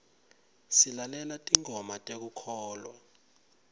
silalela tingoma tekukholwa